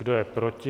Kdo je proti?